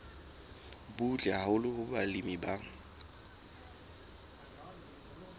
butle haholo hoo balemi ba